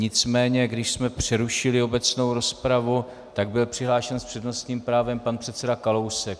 Nicméně když jsme přerušili obecnou rozpravu, tak byl přihlášen s přednostním právem pan předseda Kalousek.